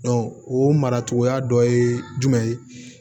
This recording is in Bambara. o mara cogoya dɔ ye jumɛn ye